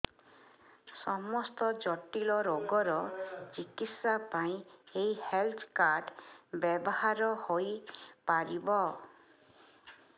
ସମସ୍ତ ଜଟିଳ ରୋଗର ଚିକିତ୍ସା ପାଇଁ ଏହି ହେଲ୍ଥ କାର୍ଡ ବ୍ୟବହାର ହୋଇପାରିବ